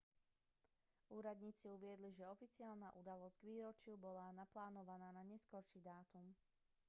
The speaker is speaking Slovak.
úradníci uviedli že oficiálna udalosť k výročiu bola naplánovaná na neskorší dátum